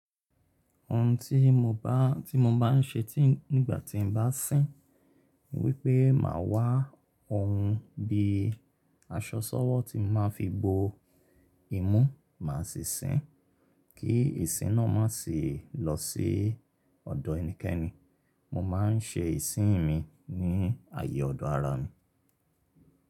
Òun tí mo bá, tí mo bá ń ṣe tí nígbà tí n bá sín, ni wípé máa wá ohun bí aṣọ ṣọ́wọ́ tí máa fi bo imú máa sì sín kí ìsín náà má sì lọ sí ọ̀dọ̀ ẹnikẹ́ni. Mo má ń sẹ ìsín mi ní ààyè ọ̀dọ̀ ara mi.